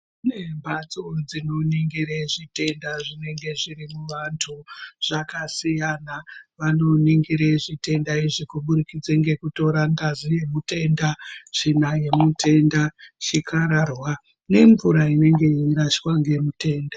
Kune mbatso dzino onekere zvi tenda zvinge zviri mu vantu zvakasiyana vano ningire zvitenda zvitenda izvi kubudikidza ngeku tora ngazi ye mutenda tsvina yemutenda, chikarwara nge mvura inenge yei rashwa ne mutenda.